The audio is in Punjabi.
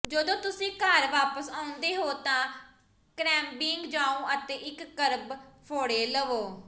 ਜਦੋਂ ਤੁਸੀਂ ਘਰ ਵਾਪਸ ਆਉਂਦੇ ਹੋ ਤਾਂ ਕ੍ਰੈਬਬਿੰਗ ਜਾਓ ਅਤੇ ਇੱਕ ਕਰਬ ਫ਼ੋੜੇ ਲਵੋ